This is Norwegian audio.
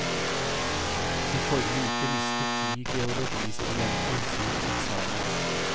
I forrige uke mistet ti geologistudenter sin eksamen.